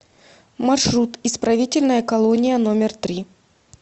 маршрут исправительная колония номер три